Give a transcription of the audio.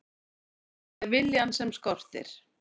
Það er viljann sem skortir.